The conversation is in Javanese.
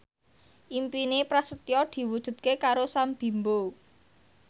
impine Prasetyo diwujudke karo Sam Bimbo